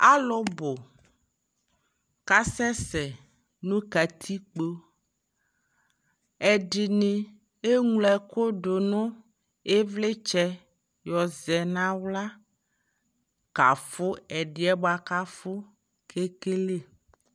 alʋ bʋ kʋ asɛsɛ nʋ katikpɔ, ɛdini ɛmlɔ ɛkʋ dʋnʋ ivlitsɛ yɔzɛ nʋ ala kaƒʋ ɛdiɛ bʋakʋ aƒʋ kɛkɛlɛ